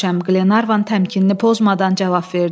Qlenarvan təmkinini pozmadan cavab verdi.